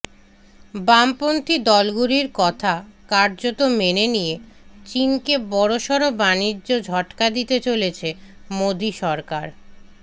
বামপন্থী দলগুলির কথা কার্যত মেনে নিয়ে চীনকে বড়সড় বানিজ্য ঝটকা দিতে চলেছে মোদী সরকার